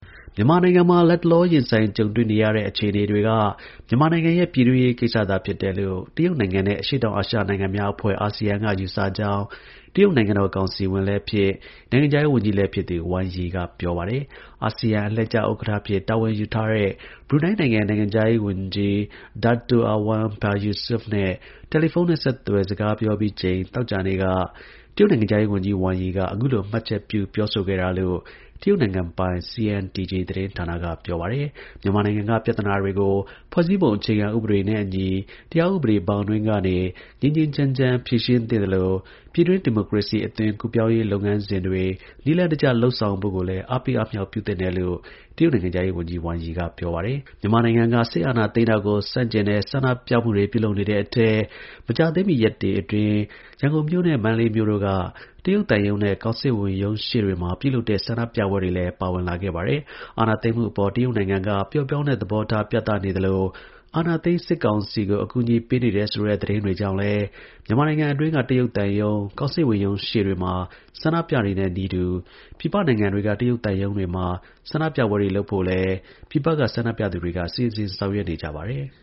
မြန်မာနိုင်ငံမှာ လတ်တလောရင်ဆိုင်ကြုံတွေ့နေရတဲ့ အခြေအနေတွေက မြန်မာနိုင်ငံရဲ့ ပြည်တွင်းရေးကိစ္စသာဖြစ်တယ်လို့ တရုတ် နိုင်ငံနဲ့ အရှေ့တောင်အာရှနိုင်ငံများအဖွဲ့ (ASEAN) က ယူဆကြောင်းတရုတ်နိုင်ငံတော် ကောင်စီဝင်လည်း ဖြစ် နိုင်ငံခြားရေး ဝန်ကြီး လည်း ဖြစ်သူ Wang Yi က ပြောပါတယ်။ အာဆီယံ အလှည့်ကျ ဥက္ကဌ အဖြစ်တာဝန်ယူထားတဲ့ ဘရူနိုင်းနိုင်ငံခြားရေးဝန်ကြီး II Dato Erywan Pehin Yusof နဲ့ တယ်လီဖုန်းနဲ့ ဆက်သွယ်စကားပြောပြီးချိန် သောကြာနေ့က တရုတ် နိုင်ငံခြားရေးဝန်ကြီး Wang Yi က အခုလိုမှတ်ချက်ပြုပြောဆိုခဲ့တာလို့ တရုတ် နိုင်ငံပိုင် CNTG သတင်းဌာနက ပြောပါတယ်။ မြန်မာနိုင်ငံက ပြဿနာတွေကို ဖွဲ့စည်းပုံအခြေခံဥပဒေနဲ့ အညီ တရားဥပဒေဘောင်အတွင်းကနေ ငြိမ်းငြိမ်းချမ်းချမ်း ဖြေရှင်း သင့် သလို ပြည်တွင်း ဒီမိုကရေစီအသွင်ကူးပြောင်းရေးလုပ်ငန်းစဉ်တွေ နည်းလမ်းတကျ လုပ်ဆောင်ဖို့ကိုလည်း အားပေးအားမြှောက် ပြု သင့်တယ် တရုတ်နိုင်ငံခြားရေးဝန်ကြီး Wang Yi က ပြောပါတယ်။ မြန်မာနိုင်ငံက စစ်အာဏာသိမ်းတာကို ဆန့်ကျင်တဲ့ ဆန္ဒပြပွဲတွေအထဲ မကြာသေးမီ ရက်တွေအတွင်း ရန်ကုန်မြို့နဲ့ မန္တလေးမြို့တို့က တရုတ်သံရုံးနဲ့ ကောင်စစ်ဝန် ရုံးရှေ့တွေမှာ ပြုလုပ်တဲ့ ဆန္ဒပြပွဲတွေလည်း ပါဝင်လာခဲ့ပါတယ်။ အာဏာသိမ်းမှုအပေါ် တရုတ်နိုင်ငံက ပျော့ပြောင်းတဲ့ သဘောထား ပြသနေသလို အာဏာသိမ်း စစ်ကောင်စီကို အကူအညီပေးနေတယ်ဆိုတဲ့ သတင်းတွေကြောင့်လည်း မြန်မာနိုင်ငံအတွင်းက တရုတ် သံရုံး၊ ကောင်စစ်ဝန် ရုံးတွေရှေ့မှာဆန္ဒပြတဲ့နည်းတူ ပြည်ပနိုင်ငံတွေက တရုတ် သံရုံးတွေမှာ ဆန္ဒ ပြပွဲတွေလုပ်ဖို့လည်း ပြည်ပက ဆန္ဒပြသူတွေက စီစဉ်ဆောင်ရွက်နေကြပါတယ်။